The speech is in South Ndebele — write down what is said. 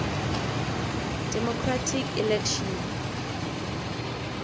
democratic election